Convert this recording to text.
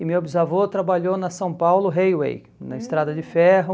E meu bisavô trabalhou na São Paulo Highway, na estrada de ferro.